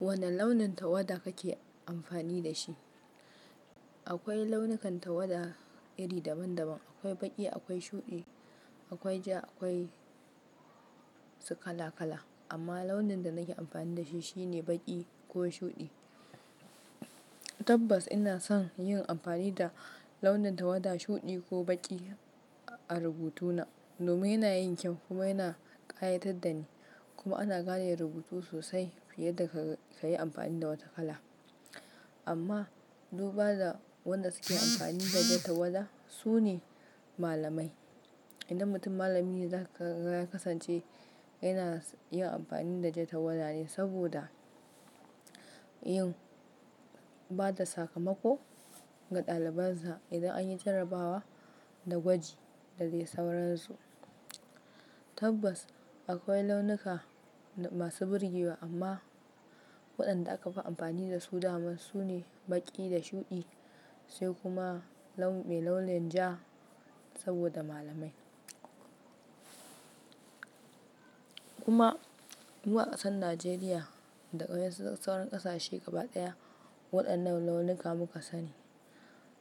Wane launin tawada kake amfani da shi? Akwai launukan tawada iri daban-daban, akwai baƙi, akwai shuɗi, akwai ja, akwai su kala-kala. Amma launin da nake amfani da shi shine baƙi ko shuɗi. Tabbas ina son yin amfani da launin tawada shuɗi ko baƙi a rubutu na. Domin yana yin kyau kuma yana ƙayatar da ni. Kuma ana gane rubutu sosai fiye da ka yi amfani da wata kala. Amma duba da wanda suke amfani da jar tawada su ne malamai. Inda mutum malami ne za ka ga ya kasance yana yin amfani da jar tawada ne saboda yin ba da sakamako ga ɗalibansa idan an yi jarrabawa da gwaji da dai sauransu. Tabbas akwai launuka masu burgewa amma waɗanda aka fi amfani da su da dama su ne baƙi da shuɗi sai kuma launin ja saboda malamai. Kuma mu a ƙasar Najeriya da waɗansu sauran ƙasashe gaba ɗaya waɗannan launuka muka sani.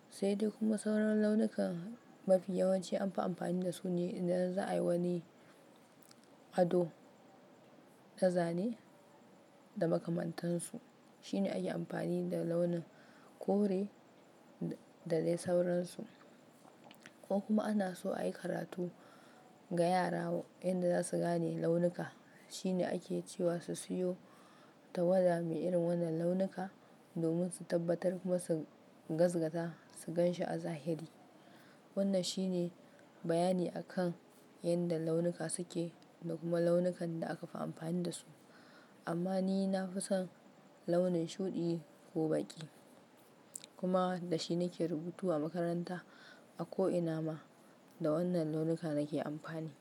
Sai dai kuma sauran launukan mafi yawanci an fi amfani da su ne idan za a yi wani ado na zane da makamantansu. Shine ake amfani da launin kore da dai sauransu. Ko kuma ana so a yi karatu ga yara yadda za su gane launuka shine ake cewa su siyo tawada mai irin wannan launuka domin su tabbatar kuma su gaskata, su gan shi a zahiri. Wannan shine bayani a kan yadda launuka suke da kuma launukan da aka fi amfani da su. Amma ni na fi son launin shuɗi ko baƙi. Kuma da shi nake rubutu a makaranta. A ko ina ma da wannan launuka nake amfani.